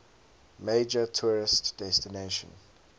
major tourist destination